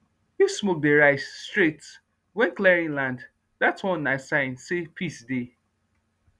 if smoke dey rise straight when clearing land that one na sign say peace dey